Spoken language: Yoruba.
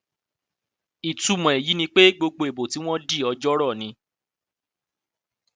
ìtumọ èyí ni pé gbogbo ìbò tí wọn di ọjọọrọ ni